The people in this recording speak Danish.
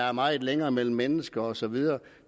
er meget længere mellem mennesker og så videre